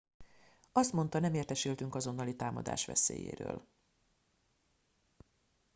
azt mondta nem értesültünk azonnali támadás veszélyéről